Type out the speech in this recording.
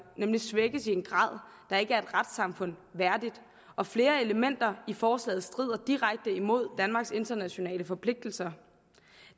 nemlig svækkes i en grad der ikke er et retssamfund værdigt og flere elementer i forslaget strider direkte imod danmarks internationale forpligtelser